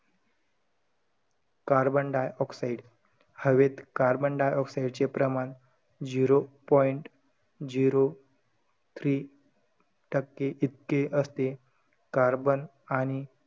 Carbon dioxide, हवेत carbon dioxide चे प्रमाण zero point zero three टक्के इतके असते. Carbon आणि,